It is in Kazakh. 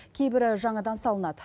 кейбірі жаңадан салынады